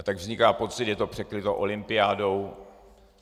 A tak vzniká pocit, že je to překryto olympiádou.